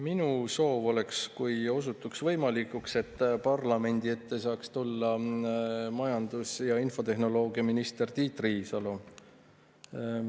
Minu soov oleks see, kui osutuks võimalikuks, et parlamendi ette saaks tulla majandus- ja infotehnoloogiaminister Tiit Riisalo.